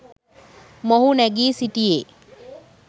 මොහු නැගී සිටියේ.